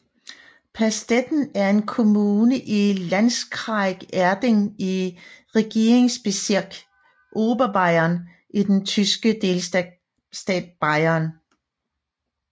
Pastetten er en kommune i Landkreis Erding i Regierungsbezirk Oberbayern i den tyske delstat Bayern